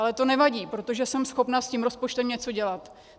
Ale to nevadí, protože jsem schopna s tím rozpočtem něco dělat.